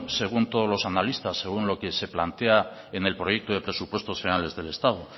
según todos los analistas según lo que se plantea en el proyecto de presupuestos generales del estado